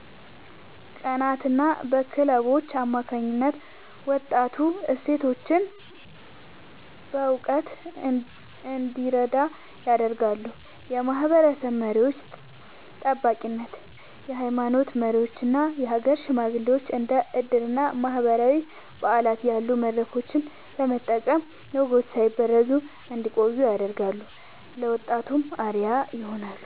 ቀናትና በክለቦች አማካኝነት ወጣቱ እሴቶቹን በእውቀት እንዲረዳ ያደርጋሉ። የማህበረሰብ መሪዎች (ጠባቂነት)፦ የሃይማኖት መሪዎችና የሀገር ሽማግሌዎች እንደ ዕድርና ማህበራዊ በዓላት ያሉ መድረኮችን በመጠቀም ወጎች ሳይበረዙ እንዲቆዩ ያደርጋሉ፤ ለወጣቱም አርአያ ይሆናሉ።